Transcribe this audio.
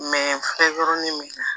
min na